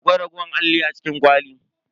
Akwai raguwar alli a cikin kwalin?